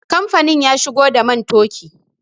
Kamfanin ya shigo da man toki